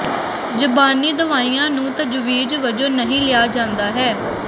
ਜ਼ਬਾਨੀ ਦਵਾਈਆਂ ਨੂੰ ਤਜਵੀਜ਼ ਵਜੋਂ ਨਹੀਂ ਲਿਆ ਜਾਂਦਾ ਹੈ